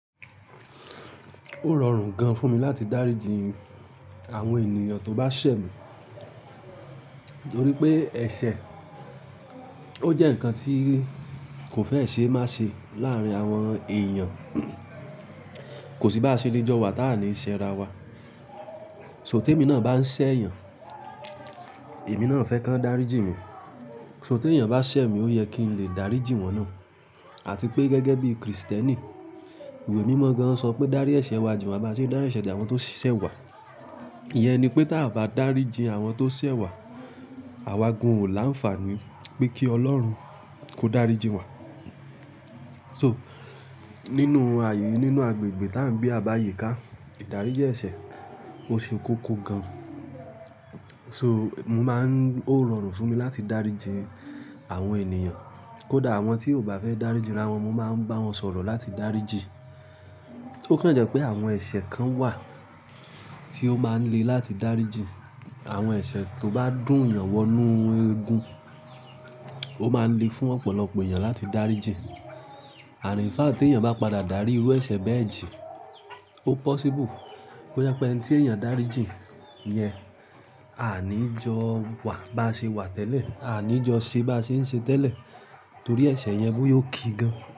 Ó rọrùn gan fún mi láti dáríji àwọn ènìyàn tó bá ṣẹ̀ mi, torí pé ẹ̀ṣẹ̀ ó jẹ́ ǹkan tí kò fẹ́ ṣe má ṣe láàárín àwọn èèyàn, kò sí bá se le jọ wa táà ní ṣe ara wa. So ti èmi náà bá ń ṣẹ̀ èèyàn, èmi náà fẹ́ kàn dáríji mi. So tó èèyàn bá ṣẹ̀ mi ó yẹ kí n lè dáríji wọ́n náà àti pé gẹ́gẹ́ bí Kristẹni, iwe mímọ gan sọ pé dárí ẹ̀ṣẹ̀ wa jin wá bá ṣe dárí ẹ̀ṣẹ̀ jin àwọn tó ṣẹ̀ wa. Ìyẹn ni pé tí a bá dáríji àwọn tó ṣẹ̀ wa, àwa gan ò láǹfàní pé kí Ọlọ́run kó dáríji wa. So nínú àyè nínú agbègbè tá ń gbe a bá àyíká, ìdáríjì ẹ̀ṣẹ̀ ó ṣe kókó gan. So mo máa ń, ó rọrùn fún mi láti dáríji àwọn ènìyàn, kódà àwọn tí ò bá fẹ́ dáríji ra wọn, mo máa ń bá wọn sọ̀rọ̀ láti dáríji. Ó kan jẹ́ pé àwọn ẹ̀ṣẹ̀ kan wà tí ó máa ń le láti dáríji. Àwọn ẹ̀ṣẹ̀ tó bá dún eyàn wọ inú egun, ó máa ń le fún ọ̀pọ̀lọpọ̀ èèyàn láti dáríji. And infact tí èèyàn bá padà dárí irú ẹ̀ṣẹ̀ bẹ́ẹ̀ jí, ó possible kò jẹ pé ẹni tí èèyàn dáríji yẹn, a ní jọ wa bá ṣe wà tẹ́lẹ̀, a ní jọ ṣe bá ṣe ń ṣe tẹ́lẹ̀ torí ẹ̀ṣẹ̀ yẹn bó yóò ki gan.